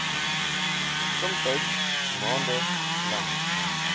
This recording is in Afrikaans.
somtyds maande lank